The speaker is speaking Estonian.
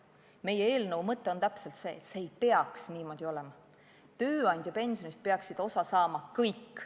Meie eelnõu mõte on, et see ei peaks niimoodi olema, tööandjapensionist peaks osa saama kõik.